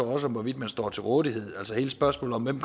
også hvorvidt man står til rådighed altså hele spørgsmålet om hvem